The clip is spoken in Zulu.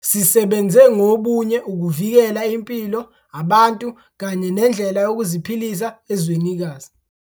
Sisebenze ngobunye ukuvikela impilo, abantu kanye nendlela yokuziphilisa ezwenikazi.